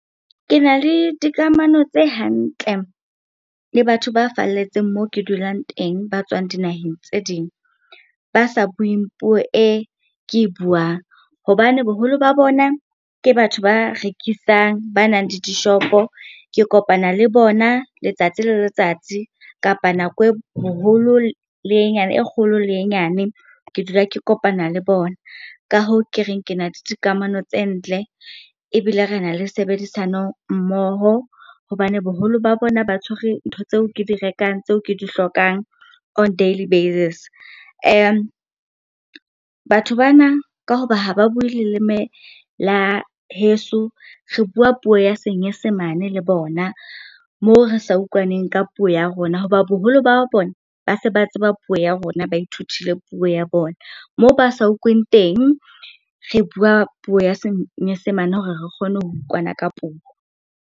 Ke na le dikamano tse hantle le batho ba falletseng moo ke dulang teng ba tswang dinaheng tse ding, ba sa bueng puo e ke e buang. Hobane boholo ba bona ke batho ba rekisang, ba nang le dishopo. Ke kopana le bona letsatsi le letsatsi kapa nako e le e nyane, e kgolo le e nyane ke dula ke kopana le bona. Ka hoo ke reng, ke na le dikamano tse ntle ebile re na le tshebedisano mmoho, hobane boholo ba bona ba tshwere ntho tseo ke di rekang, tseo ke di hlokang on daily basis. Batho bana, ka hoba ha ba bue leleme la heso, re bua puo ya senyesemane le bona moo re sa utlwaneng ka puo ya rona. Hoba boholo ba bona ba se ba tseba puo ya rona, ba ithutile puo ya bona. Moo ba sa utlweng teng, re bua puo ya senyesemane hore re kgone ho utlwana ka puo.